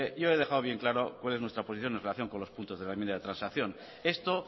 yo he dejado bien claro cuál es nuestra posición en relación con los puntos de la enmienda de transacción esto